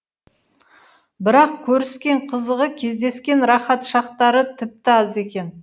бірақ көріскен қызығы кездескен рақат шақтары тіпті аз екен